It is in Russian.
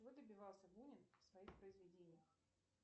чего добивался бунин в своих произведениях